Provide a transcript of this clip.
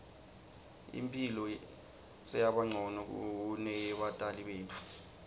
imphilo seyabancono kuneyebatali betfu